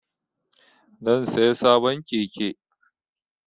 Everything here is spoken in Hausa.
Zan saya sabon keke